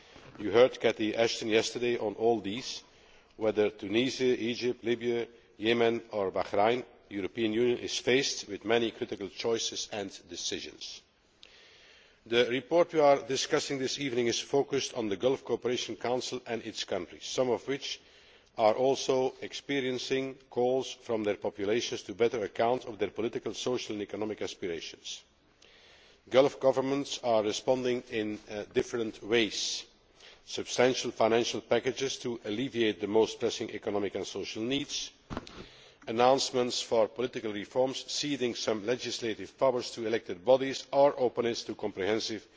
You heard Cathy Ashton yesterday on all these whether Tunisia, Egypt, Libya, Yemen or Bahrain, the European Union is faced with many critical choices and decisions. The report we are discussing this evening is focused on the Gulf Cooperation Council and its countries, some of which are also experiencing calls from their populations to take better account of their political, social and economic aspirations. Gulf governments are responding in different ways substantial financial packages to alleviate the most pressing and social needs, announcements for political reforms, ceding some legislative powers to elected bodies, or openness to comprehensive